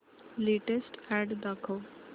latest ad दाखव